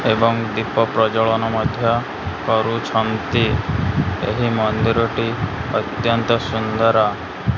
ଏବଂ ଦୀପ ପ୍ରଜଳନ ମଧ୍ୟ କରୁଛନ୍ତି ଏହି ମନ୍ଦିର ଟି ଅତ୍ୟନ୍ତ ସୁନ୍ଦର।